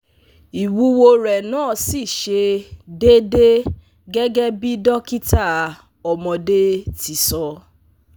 Iwuwo re na si se dede gege bi dokita omode ti so